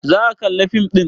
Za aka kalla fim ɗin?